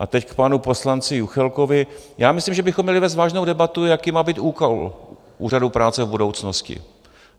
A teď k panu poslanci Juchelkovi: já myslím, že bychom měli vést vážnou debatu, jaký má být úkol Úřadu práce v budoucnosti.